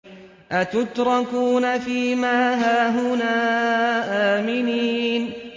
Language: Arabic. أَتُتْرَكُونَ فِي مَا هَاهُنَا آمِنِينَ